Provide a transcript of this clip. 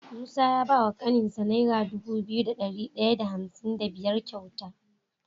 Musa ya bawa kanin sa naira Dubu biyu da dari daya da hamsin da biyar kyauta